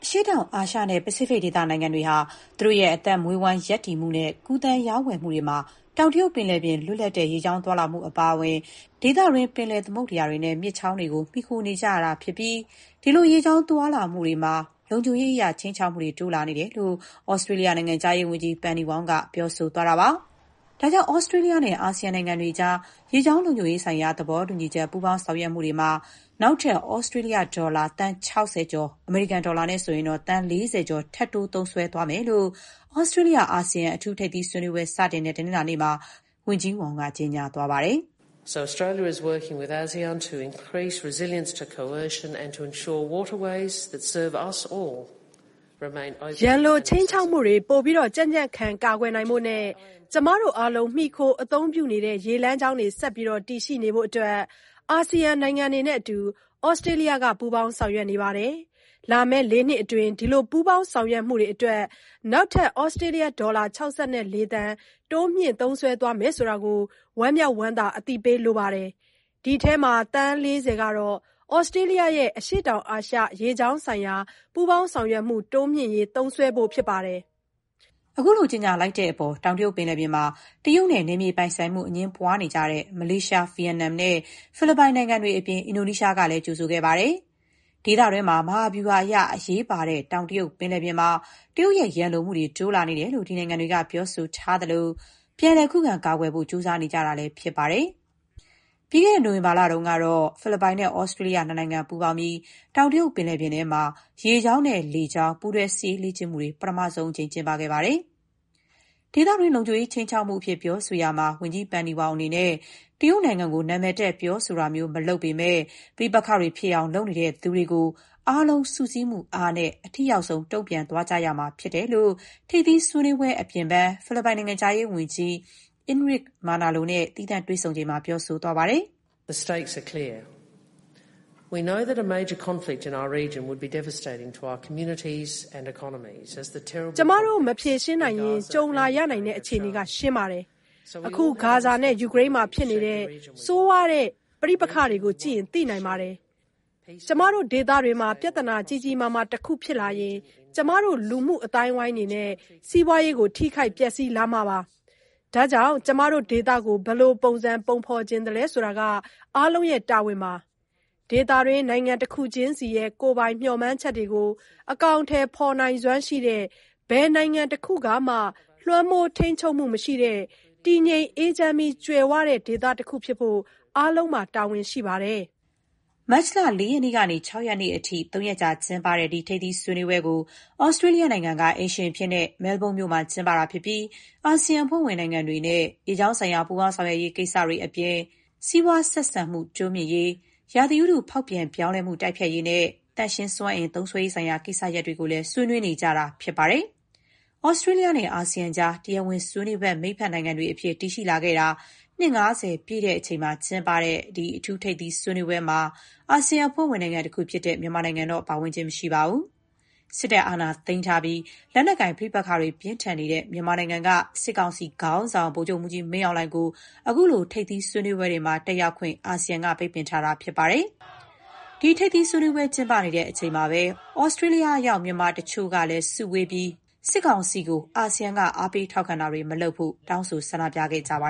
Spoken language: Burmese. ရှေ့တောင်အာရှနဲ့ ပစိဖိတ်ဒေသနိုင်ငံတွေဟာ သူတို့ရဲ့ အသက်မွေးဝမ်း ရပ်တည်မှုနဲ့ ကူးသန်းရောင်းဝယ်မှုတွေမှာ တောင်တရုတ်ပင်လယ်ပြင် လွတ်လပ်တဲ့ ရေကြောင်းသွားလာမှု အပါအဝင် ဒေသတွင်း ပင်လယ် သမုဒ္ဒရာတွေ နဲ့ မြစ်ချောင်းတွေကို မှီခို နေကြရတာ ဖြစ်ပြီး ဒီလို ရေကြောင်းသွားမှုတွေမှာ လုံခြုံရေးအရ ခြိမ်းခြောက်မှုတွေ တိုးလာနေတယ်လို့ သြစတြေးလျ နိုင်ငံခြားရေးဝန်ကြီး Penny Wong က ပြောပါတယ်။ ဒါကြောင့် သြစတြေးလျနဲ့ အာဆီယံနိုင်ငံတွေကြား ရေကြောင်းလုံခြုံရေးဆိုင်ရာ သဘောတူညီချက် ပူးပေါင်း ဆောင်ရွက်မှုတွေမှာ နောက်ထပ် သြစတြေးလျဒေါ်လာ သန်း ၆၀ ကျော်၊ (အမေရိကန်ဒေါ်လာ သန်း ၄၀ ကျော်) ထပ်တိုး သုံးစွဲသွားမယ်လို့ သြစတြေးလျ−အာဆီယံ အထူးထိပ်သီးဆွေးနွေးပွဲ စတင်တဲ့ တနင်္လာနေ့မှာ ဝန်ကြီး Wong က ကြေညာသွားတာပါ။ "ရန်လိုခြိမ်းခြောက်မှုတွေ ပိုပြီးတော့ ကြံ့ကြံ့ခံ ကာကွယ်နိုင်ဖို့ နဲ့ ကျမတို့ အားလုံး မှီခို အသုံးပြုနေရတဲ့ ရေလမ်းကြောင်းတွေ ဆက်ပြီး တည်ရှိနေဖို့အတွက် အာဆီယံနိုင်ငံတွေနဲ့အတူ သြစတြေးလျက ပူးပေါင်း ဆောင်ရွက်နေပါတယ်။ လာမယ့် ၄ နှစ်အတွင်း ဒီလိုပူးပေါင်း ဆောင်ရွက်မှုတွေအတွက် နောက်ထပ် သြစတြေးလျဒေါ်လာ ၆၄ သန်း တိုးမြှင့် သုံးစွဲသွားမယ်ဆိုတာကို ဝမ်းမြောက်ဝမ်းသာ အသိပေးလိုပါတယ်။ ဒီအထဲမှာ သန်း ၄၀ ကတော့ သြစတြေးလျရဲ့ အရှေ့တောင်အာရှ ရေကြောင်းဆိုင်ရာ ပူးပေါင်း ဆောင်ရွက်မှု တိုးမြှင့်ရေး သုံးစွဲသွားဖို့ ဖြစ်ပါတယ်။” ခုလို ကြေညာလိုက်တဲ့အပေါ် တောင်တရုတ် ပင်လယ်ပြင်မှာ တရုတ်နဲ့ နယ်မြေပိုင်ဆိုင်မှု အငြင်းပွားနေတဲ့ မလေးရှား၊ ဗီယက်နမ်နဲ့ ဖိလစ်ပိုင်နိုင်ငံတွေအပြင် အင်ဒိုနီးရှားနိုင်ငံကလည်း ကြိုဆိုခဲ့ပါတယ်။ ဒေသတွင်းမှာ မဟာဗျူဟာအရ အရေးပါတဲ့ တောင်တရုတ် ပင်လယ်ပြင်မှာ တရုတ်ရဲ့ ရန်လိုမှုတွေ တိုးလာနေတယ်လို့ ဒီနိုင်ငံတွေက ပြောဆိုထားသလို၊ ပြန်လည် ခုခံ ကာကွယ်ဖို့ ကြိုးစားနေကြတာလည်း ဖြစ်ပါတယ်။ ပြီးခဲ့တဲ့ နိုဝင်ဘာလတုန်းကလည်း ဖိလစ်ပိုင်နဲ့ သြစတြေးလျနိုင်ငံ ပူးပေါင်းပြီး တောင်တရုတ်ပင်လယ်ပြင်ထဲမှာ ရေကြောင်း၊ လေကြောင်း ပူးတွဲစစ်ရေးလေ့ကျင့်မှုတွေ ပထမဆုံးအကြိမ် လုပ်ခဲ့ကြပါတယ်။ ဒေသတွင်း လုံခြုံရေးခြိမ်းခြောက်မှုအဖြစ် ပြောဆိုရာမှာ ဝန်ကြီး Penny Wong အနေနဲ့ တရုတ်နိုင်ငံကို နာမည်တပ် ပြောဆိုတာမျိုး မလုပ်ပေမဲ့ ပဋိပက္ခတွေ ဖြစ်အောင် လုပ်နေသူတွေကို အားလုံး စုစည်းမှုအားနဲ့ အထိရောက်ဆုံး တုံ့ပြန်သွားရမှာဖြစ်တယ်လို့ ထိပ်သီး ဆွေးနွေးပွဲ အပြင်ဘန်း ဖိလစ်ပိုင်နိုင်ငံခြားရေးဝန်ကြီး Enruque Manalo နဲ့ သီးသန့်တွေ့ဆုံပွဲမှာ ပြောဆိုခဲ့ပါတယ်။ "ကျမတို့ မဖြေရှင်းနိုင်ရင် ကြုံလာရနိုင်တဲ့ အခြေအနေက ရှင်းပါတယ်။ အခု ဂါဇာနဲ့ ယူကရိန်းမှာ ဖြစ်နေတဲ့ ဆိုးရွားတဲ့ ပဋိ့ပက္ခတွေကို ကြည့်ရင် သိနိုင်ပါတယ်။ ကျမတို့ ဒေသတွင်းမှာ ပြဿနာ ကြီးကြီးမားမား တခုဖြစ်လာရင် ကျမတို့ လူမှုအသိုင်းအဝိုင်းတွေနဲ့ စီးပွားရေးကို ထိခိုက် ပျက်ဆီးလာ မှာပါ။ ဒါကြောင့် ကျမတို့ ဒေသကို ဘယ်လိုပုံစံ ပုံဖော်ချင်သလဲ ဆိုတာက အားလုံးရဲ့ တာဝန်ပါ။ ဒေသတွင်း နိုင်ငံတခုချင်းစီရဲ့ ကိုယ်ပိုင် မျှော်မှန်းချက်တွေကို အကောင်အထည် ဖော်နိုင်စွမ်းရှိတဲ့၊ ဘယ်နိုင်ငံတခုကမှ လွှမ်းမိုး ထိန်းချုပ်မှု မရှိတဲ့၊ တည်ငြိမ်း အေးချမ်းပြီး ကြွယ်ဝတဲ့ ဒေသတခုဖြစ်ဖို့ အားလုံးမှာ တာဝန်ရှိပါတယ်။” မတ်လ ၄ ရက်နေ့ကနေ ၆ ရက်နေ့အထိ ၃ ရက်ကြာ ကျင်းပတဲ့ ဒီထိပ်သီး ဆွေးနွေးပွဲကို သြစတြေးလျနိုင်ငံက အိမ်ရှင်အဖြစ်နဲ့ မဲလ်ဘုန်းမြို့မှာ ကျင်းပတာ ဖြစ်ပြီး အာဆီယံအဖွဲ့ဝင် နိုင်ငံတွေနဲ့ ရေကြောင်းဆိုင်ရာ ပူးပေါင်း ဆောင်ရွက်ရေး ကိစ္စအပြင်၊ စီးပွား ဆက်ဆံမှု တိုးမြှင့်ရေး၊ ရာသီဥတုဖောက်ပြန် ပြောင်းလဲမှု တိုက်ဖျက်ရေးနဲ့ သန့်ရှင်းစွမ်းအင် သုံးစွဲရေးဆိုင်ရာ ကိစ္စရပ်တွေကိုလည်း ဆွေနွေးနွေးနေကြတာ ဖြစ်ပါတယ်။ သြစတြေးလျနဲ့ အာဆီယံကြား တရားဝင်ဆွေးနွေးဖက် မိတ်ဖက်နိုင်ငံတွေအဖြစ် တည်ရှိလာခဲ့တာ နှစ် ၅၀ ပြည့်တဲ့အချိန် ကျင်းပတဲ့ ဒီအထူးထိပ်သီးဆွေးနွေးပွဲမှာ အာဆီယံ အဖွဲ့ဝင်နိုင်ငံတခုဖြစ်တဲ့ မြန်မာနိုင်ငံတော့ မပါဝင်ပါဘူး။ စစ်တပ် အာဏာသိမ်းထားပြီး လက်နက်ကိုင် ပဋိပက္ခတွေ ပြင်းထန်နေတဲ့ တဲ့ မြန်မာနိုင်ငံက စစ်ကောင်စီခေါင်းဆောင် ဗိုလ်ချုပ်မှူးကြီး မင်းအောင်လှိုင်ကို ခုလို ထိပ်သီး ဆွေးနွေးပွဲတွေမှာ တက်ရောက်ခွင့် အာဆီယံက ပိတ်ပင်ထားတာ ဖြစ်ပါတယ်။ ဒီထိပ်သီးဆွေးနွေးပွဲ ကျင်းပနေချိန်မှာပဲ သြစတြေးလျရောက် မြန်မာတချို့ စုဝေးပြီး မြန်မာစစ်ကောင်စီကို အာဆီယံက အားပေးထောက်ခံတာတွေ မလုပ်ဖို့ တောင်းဆို ဆန္ဒပြခဲ့ကြပါ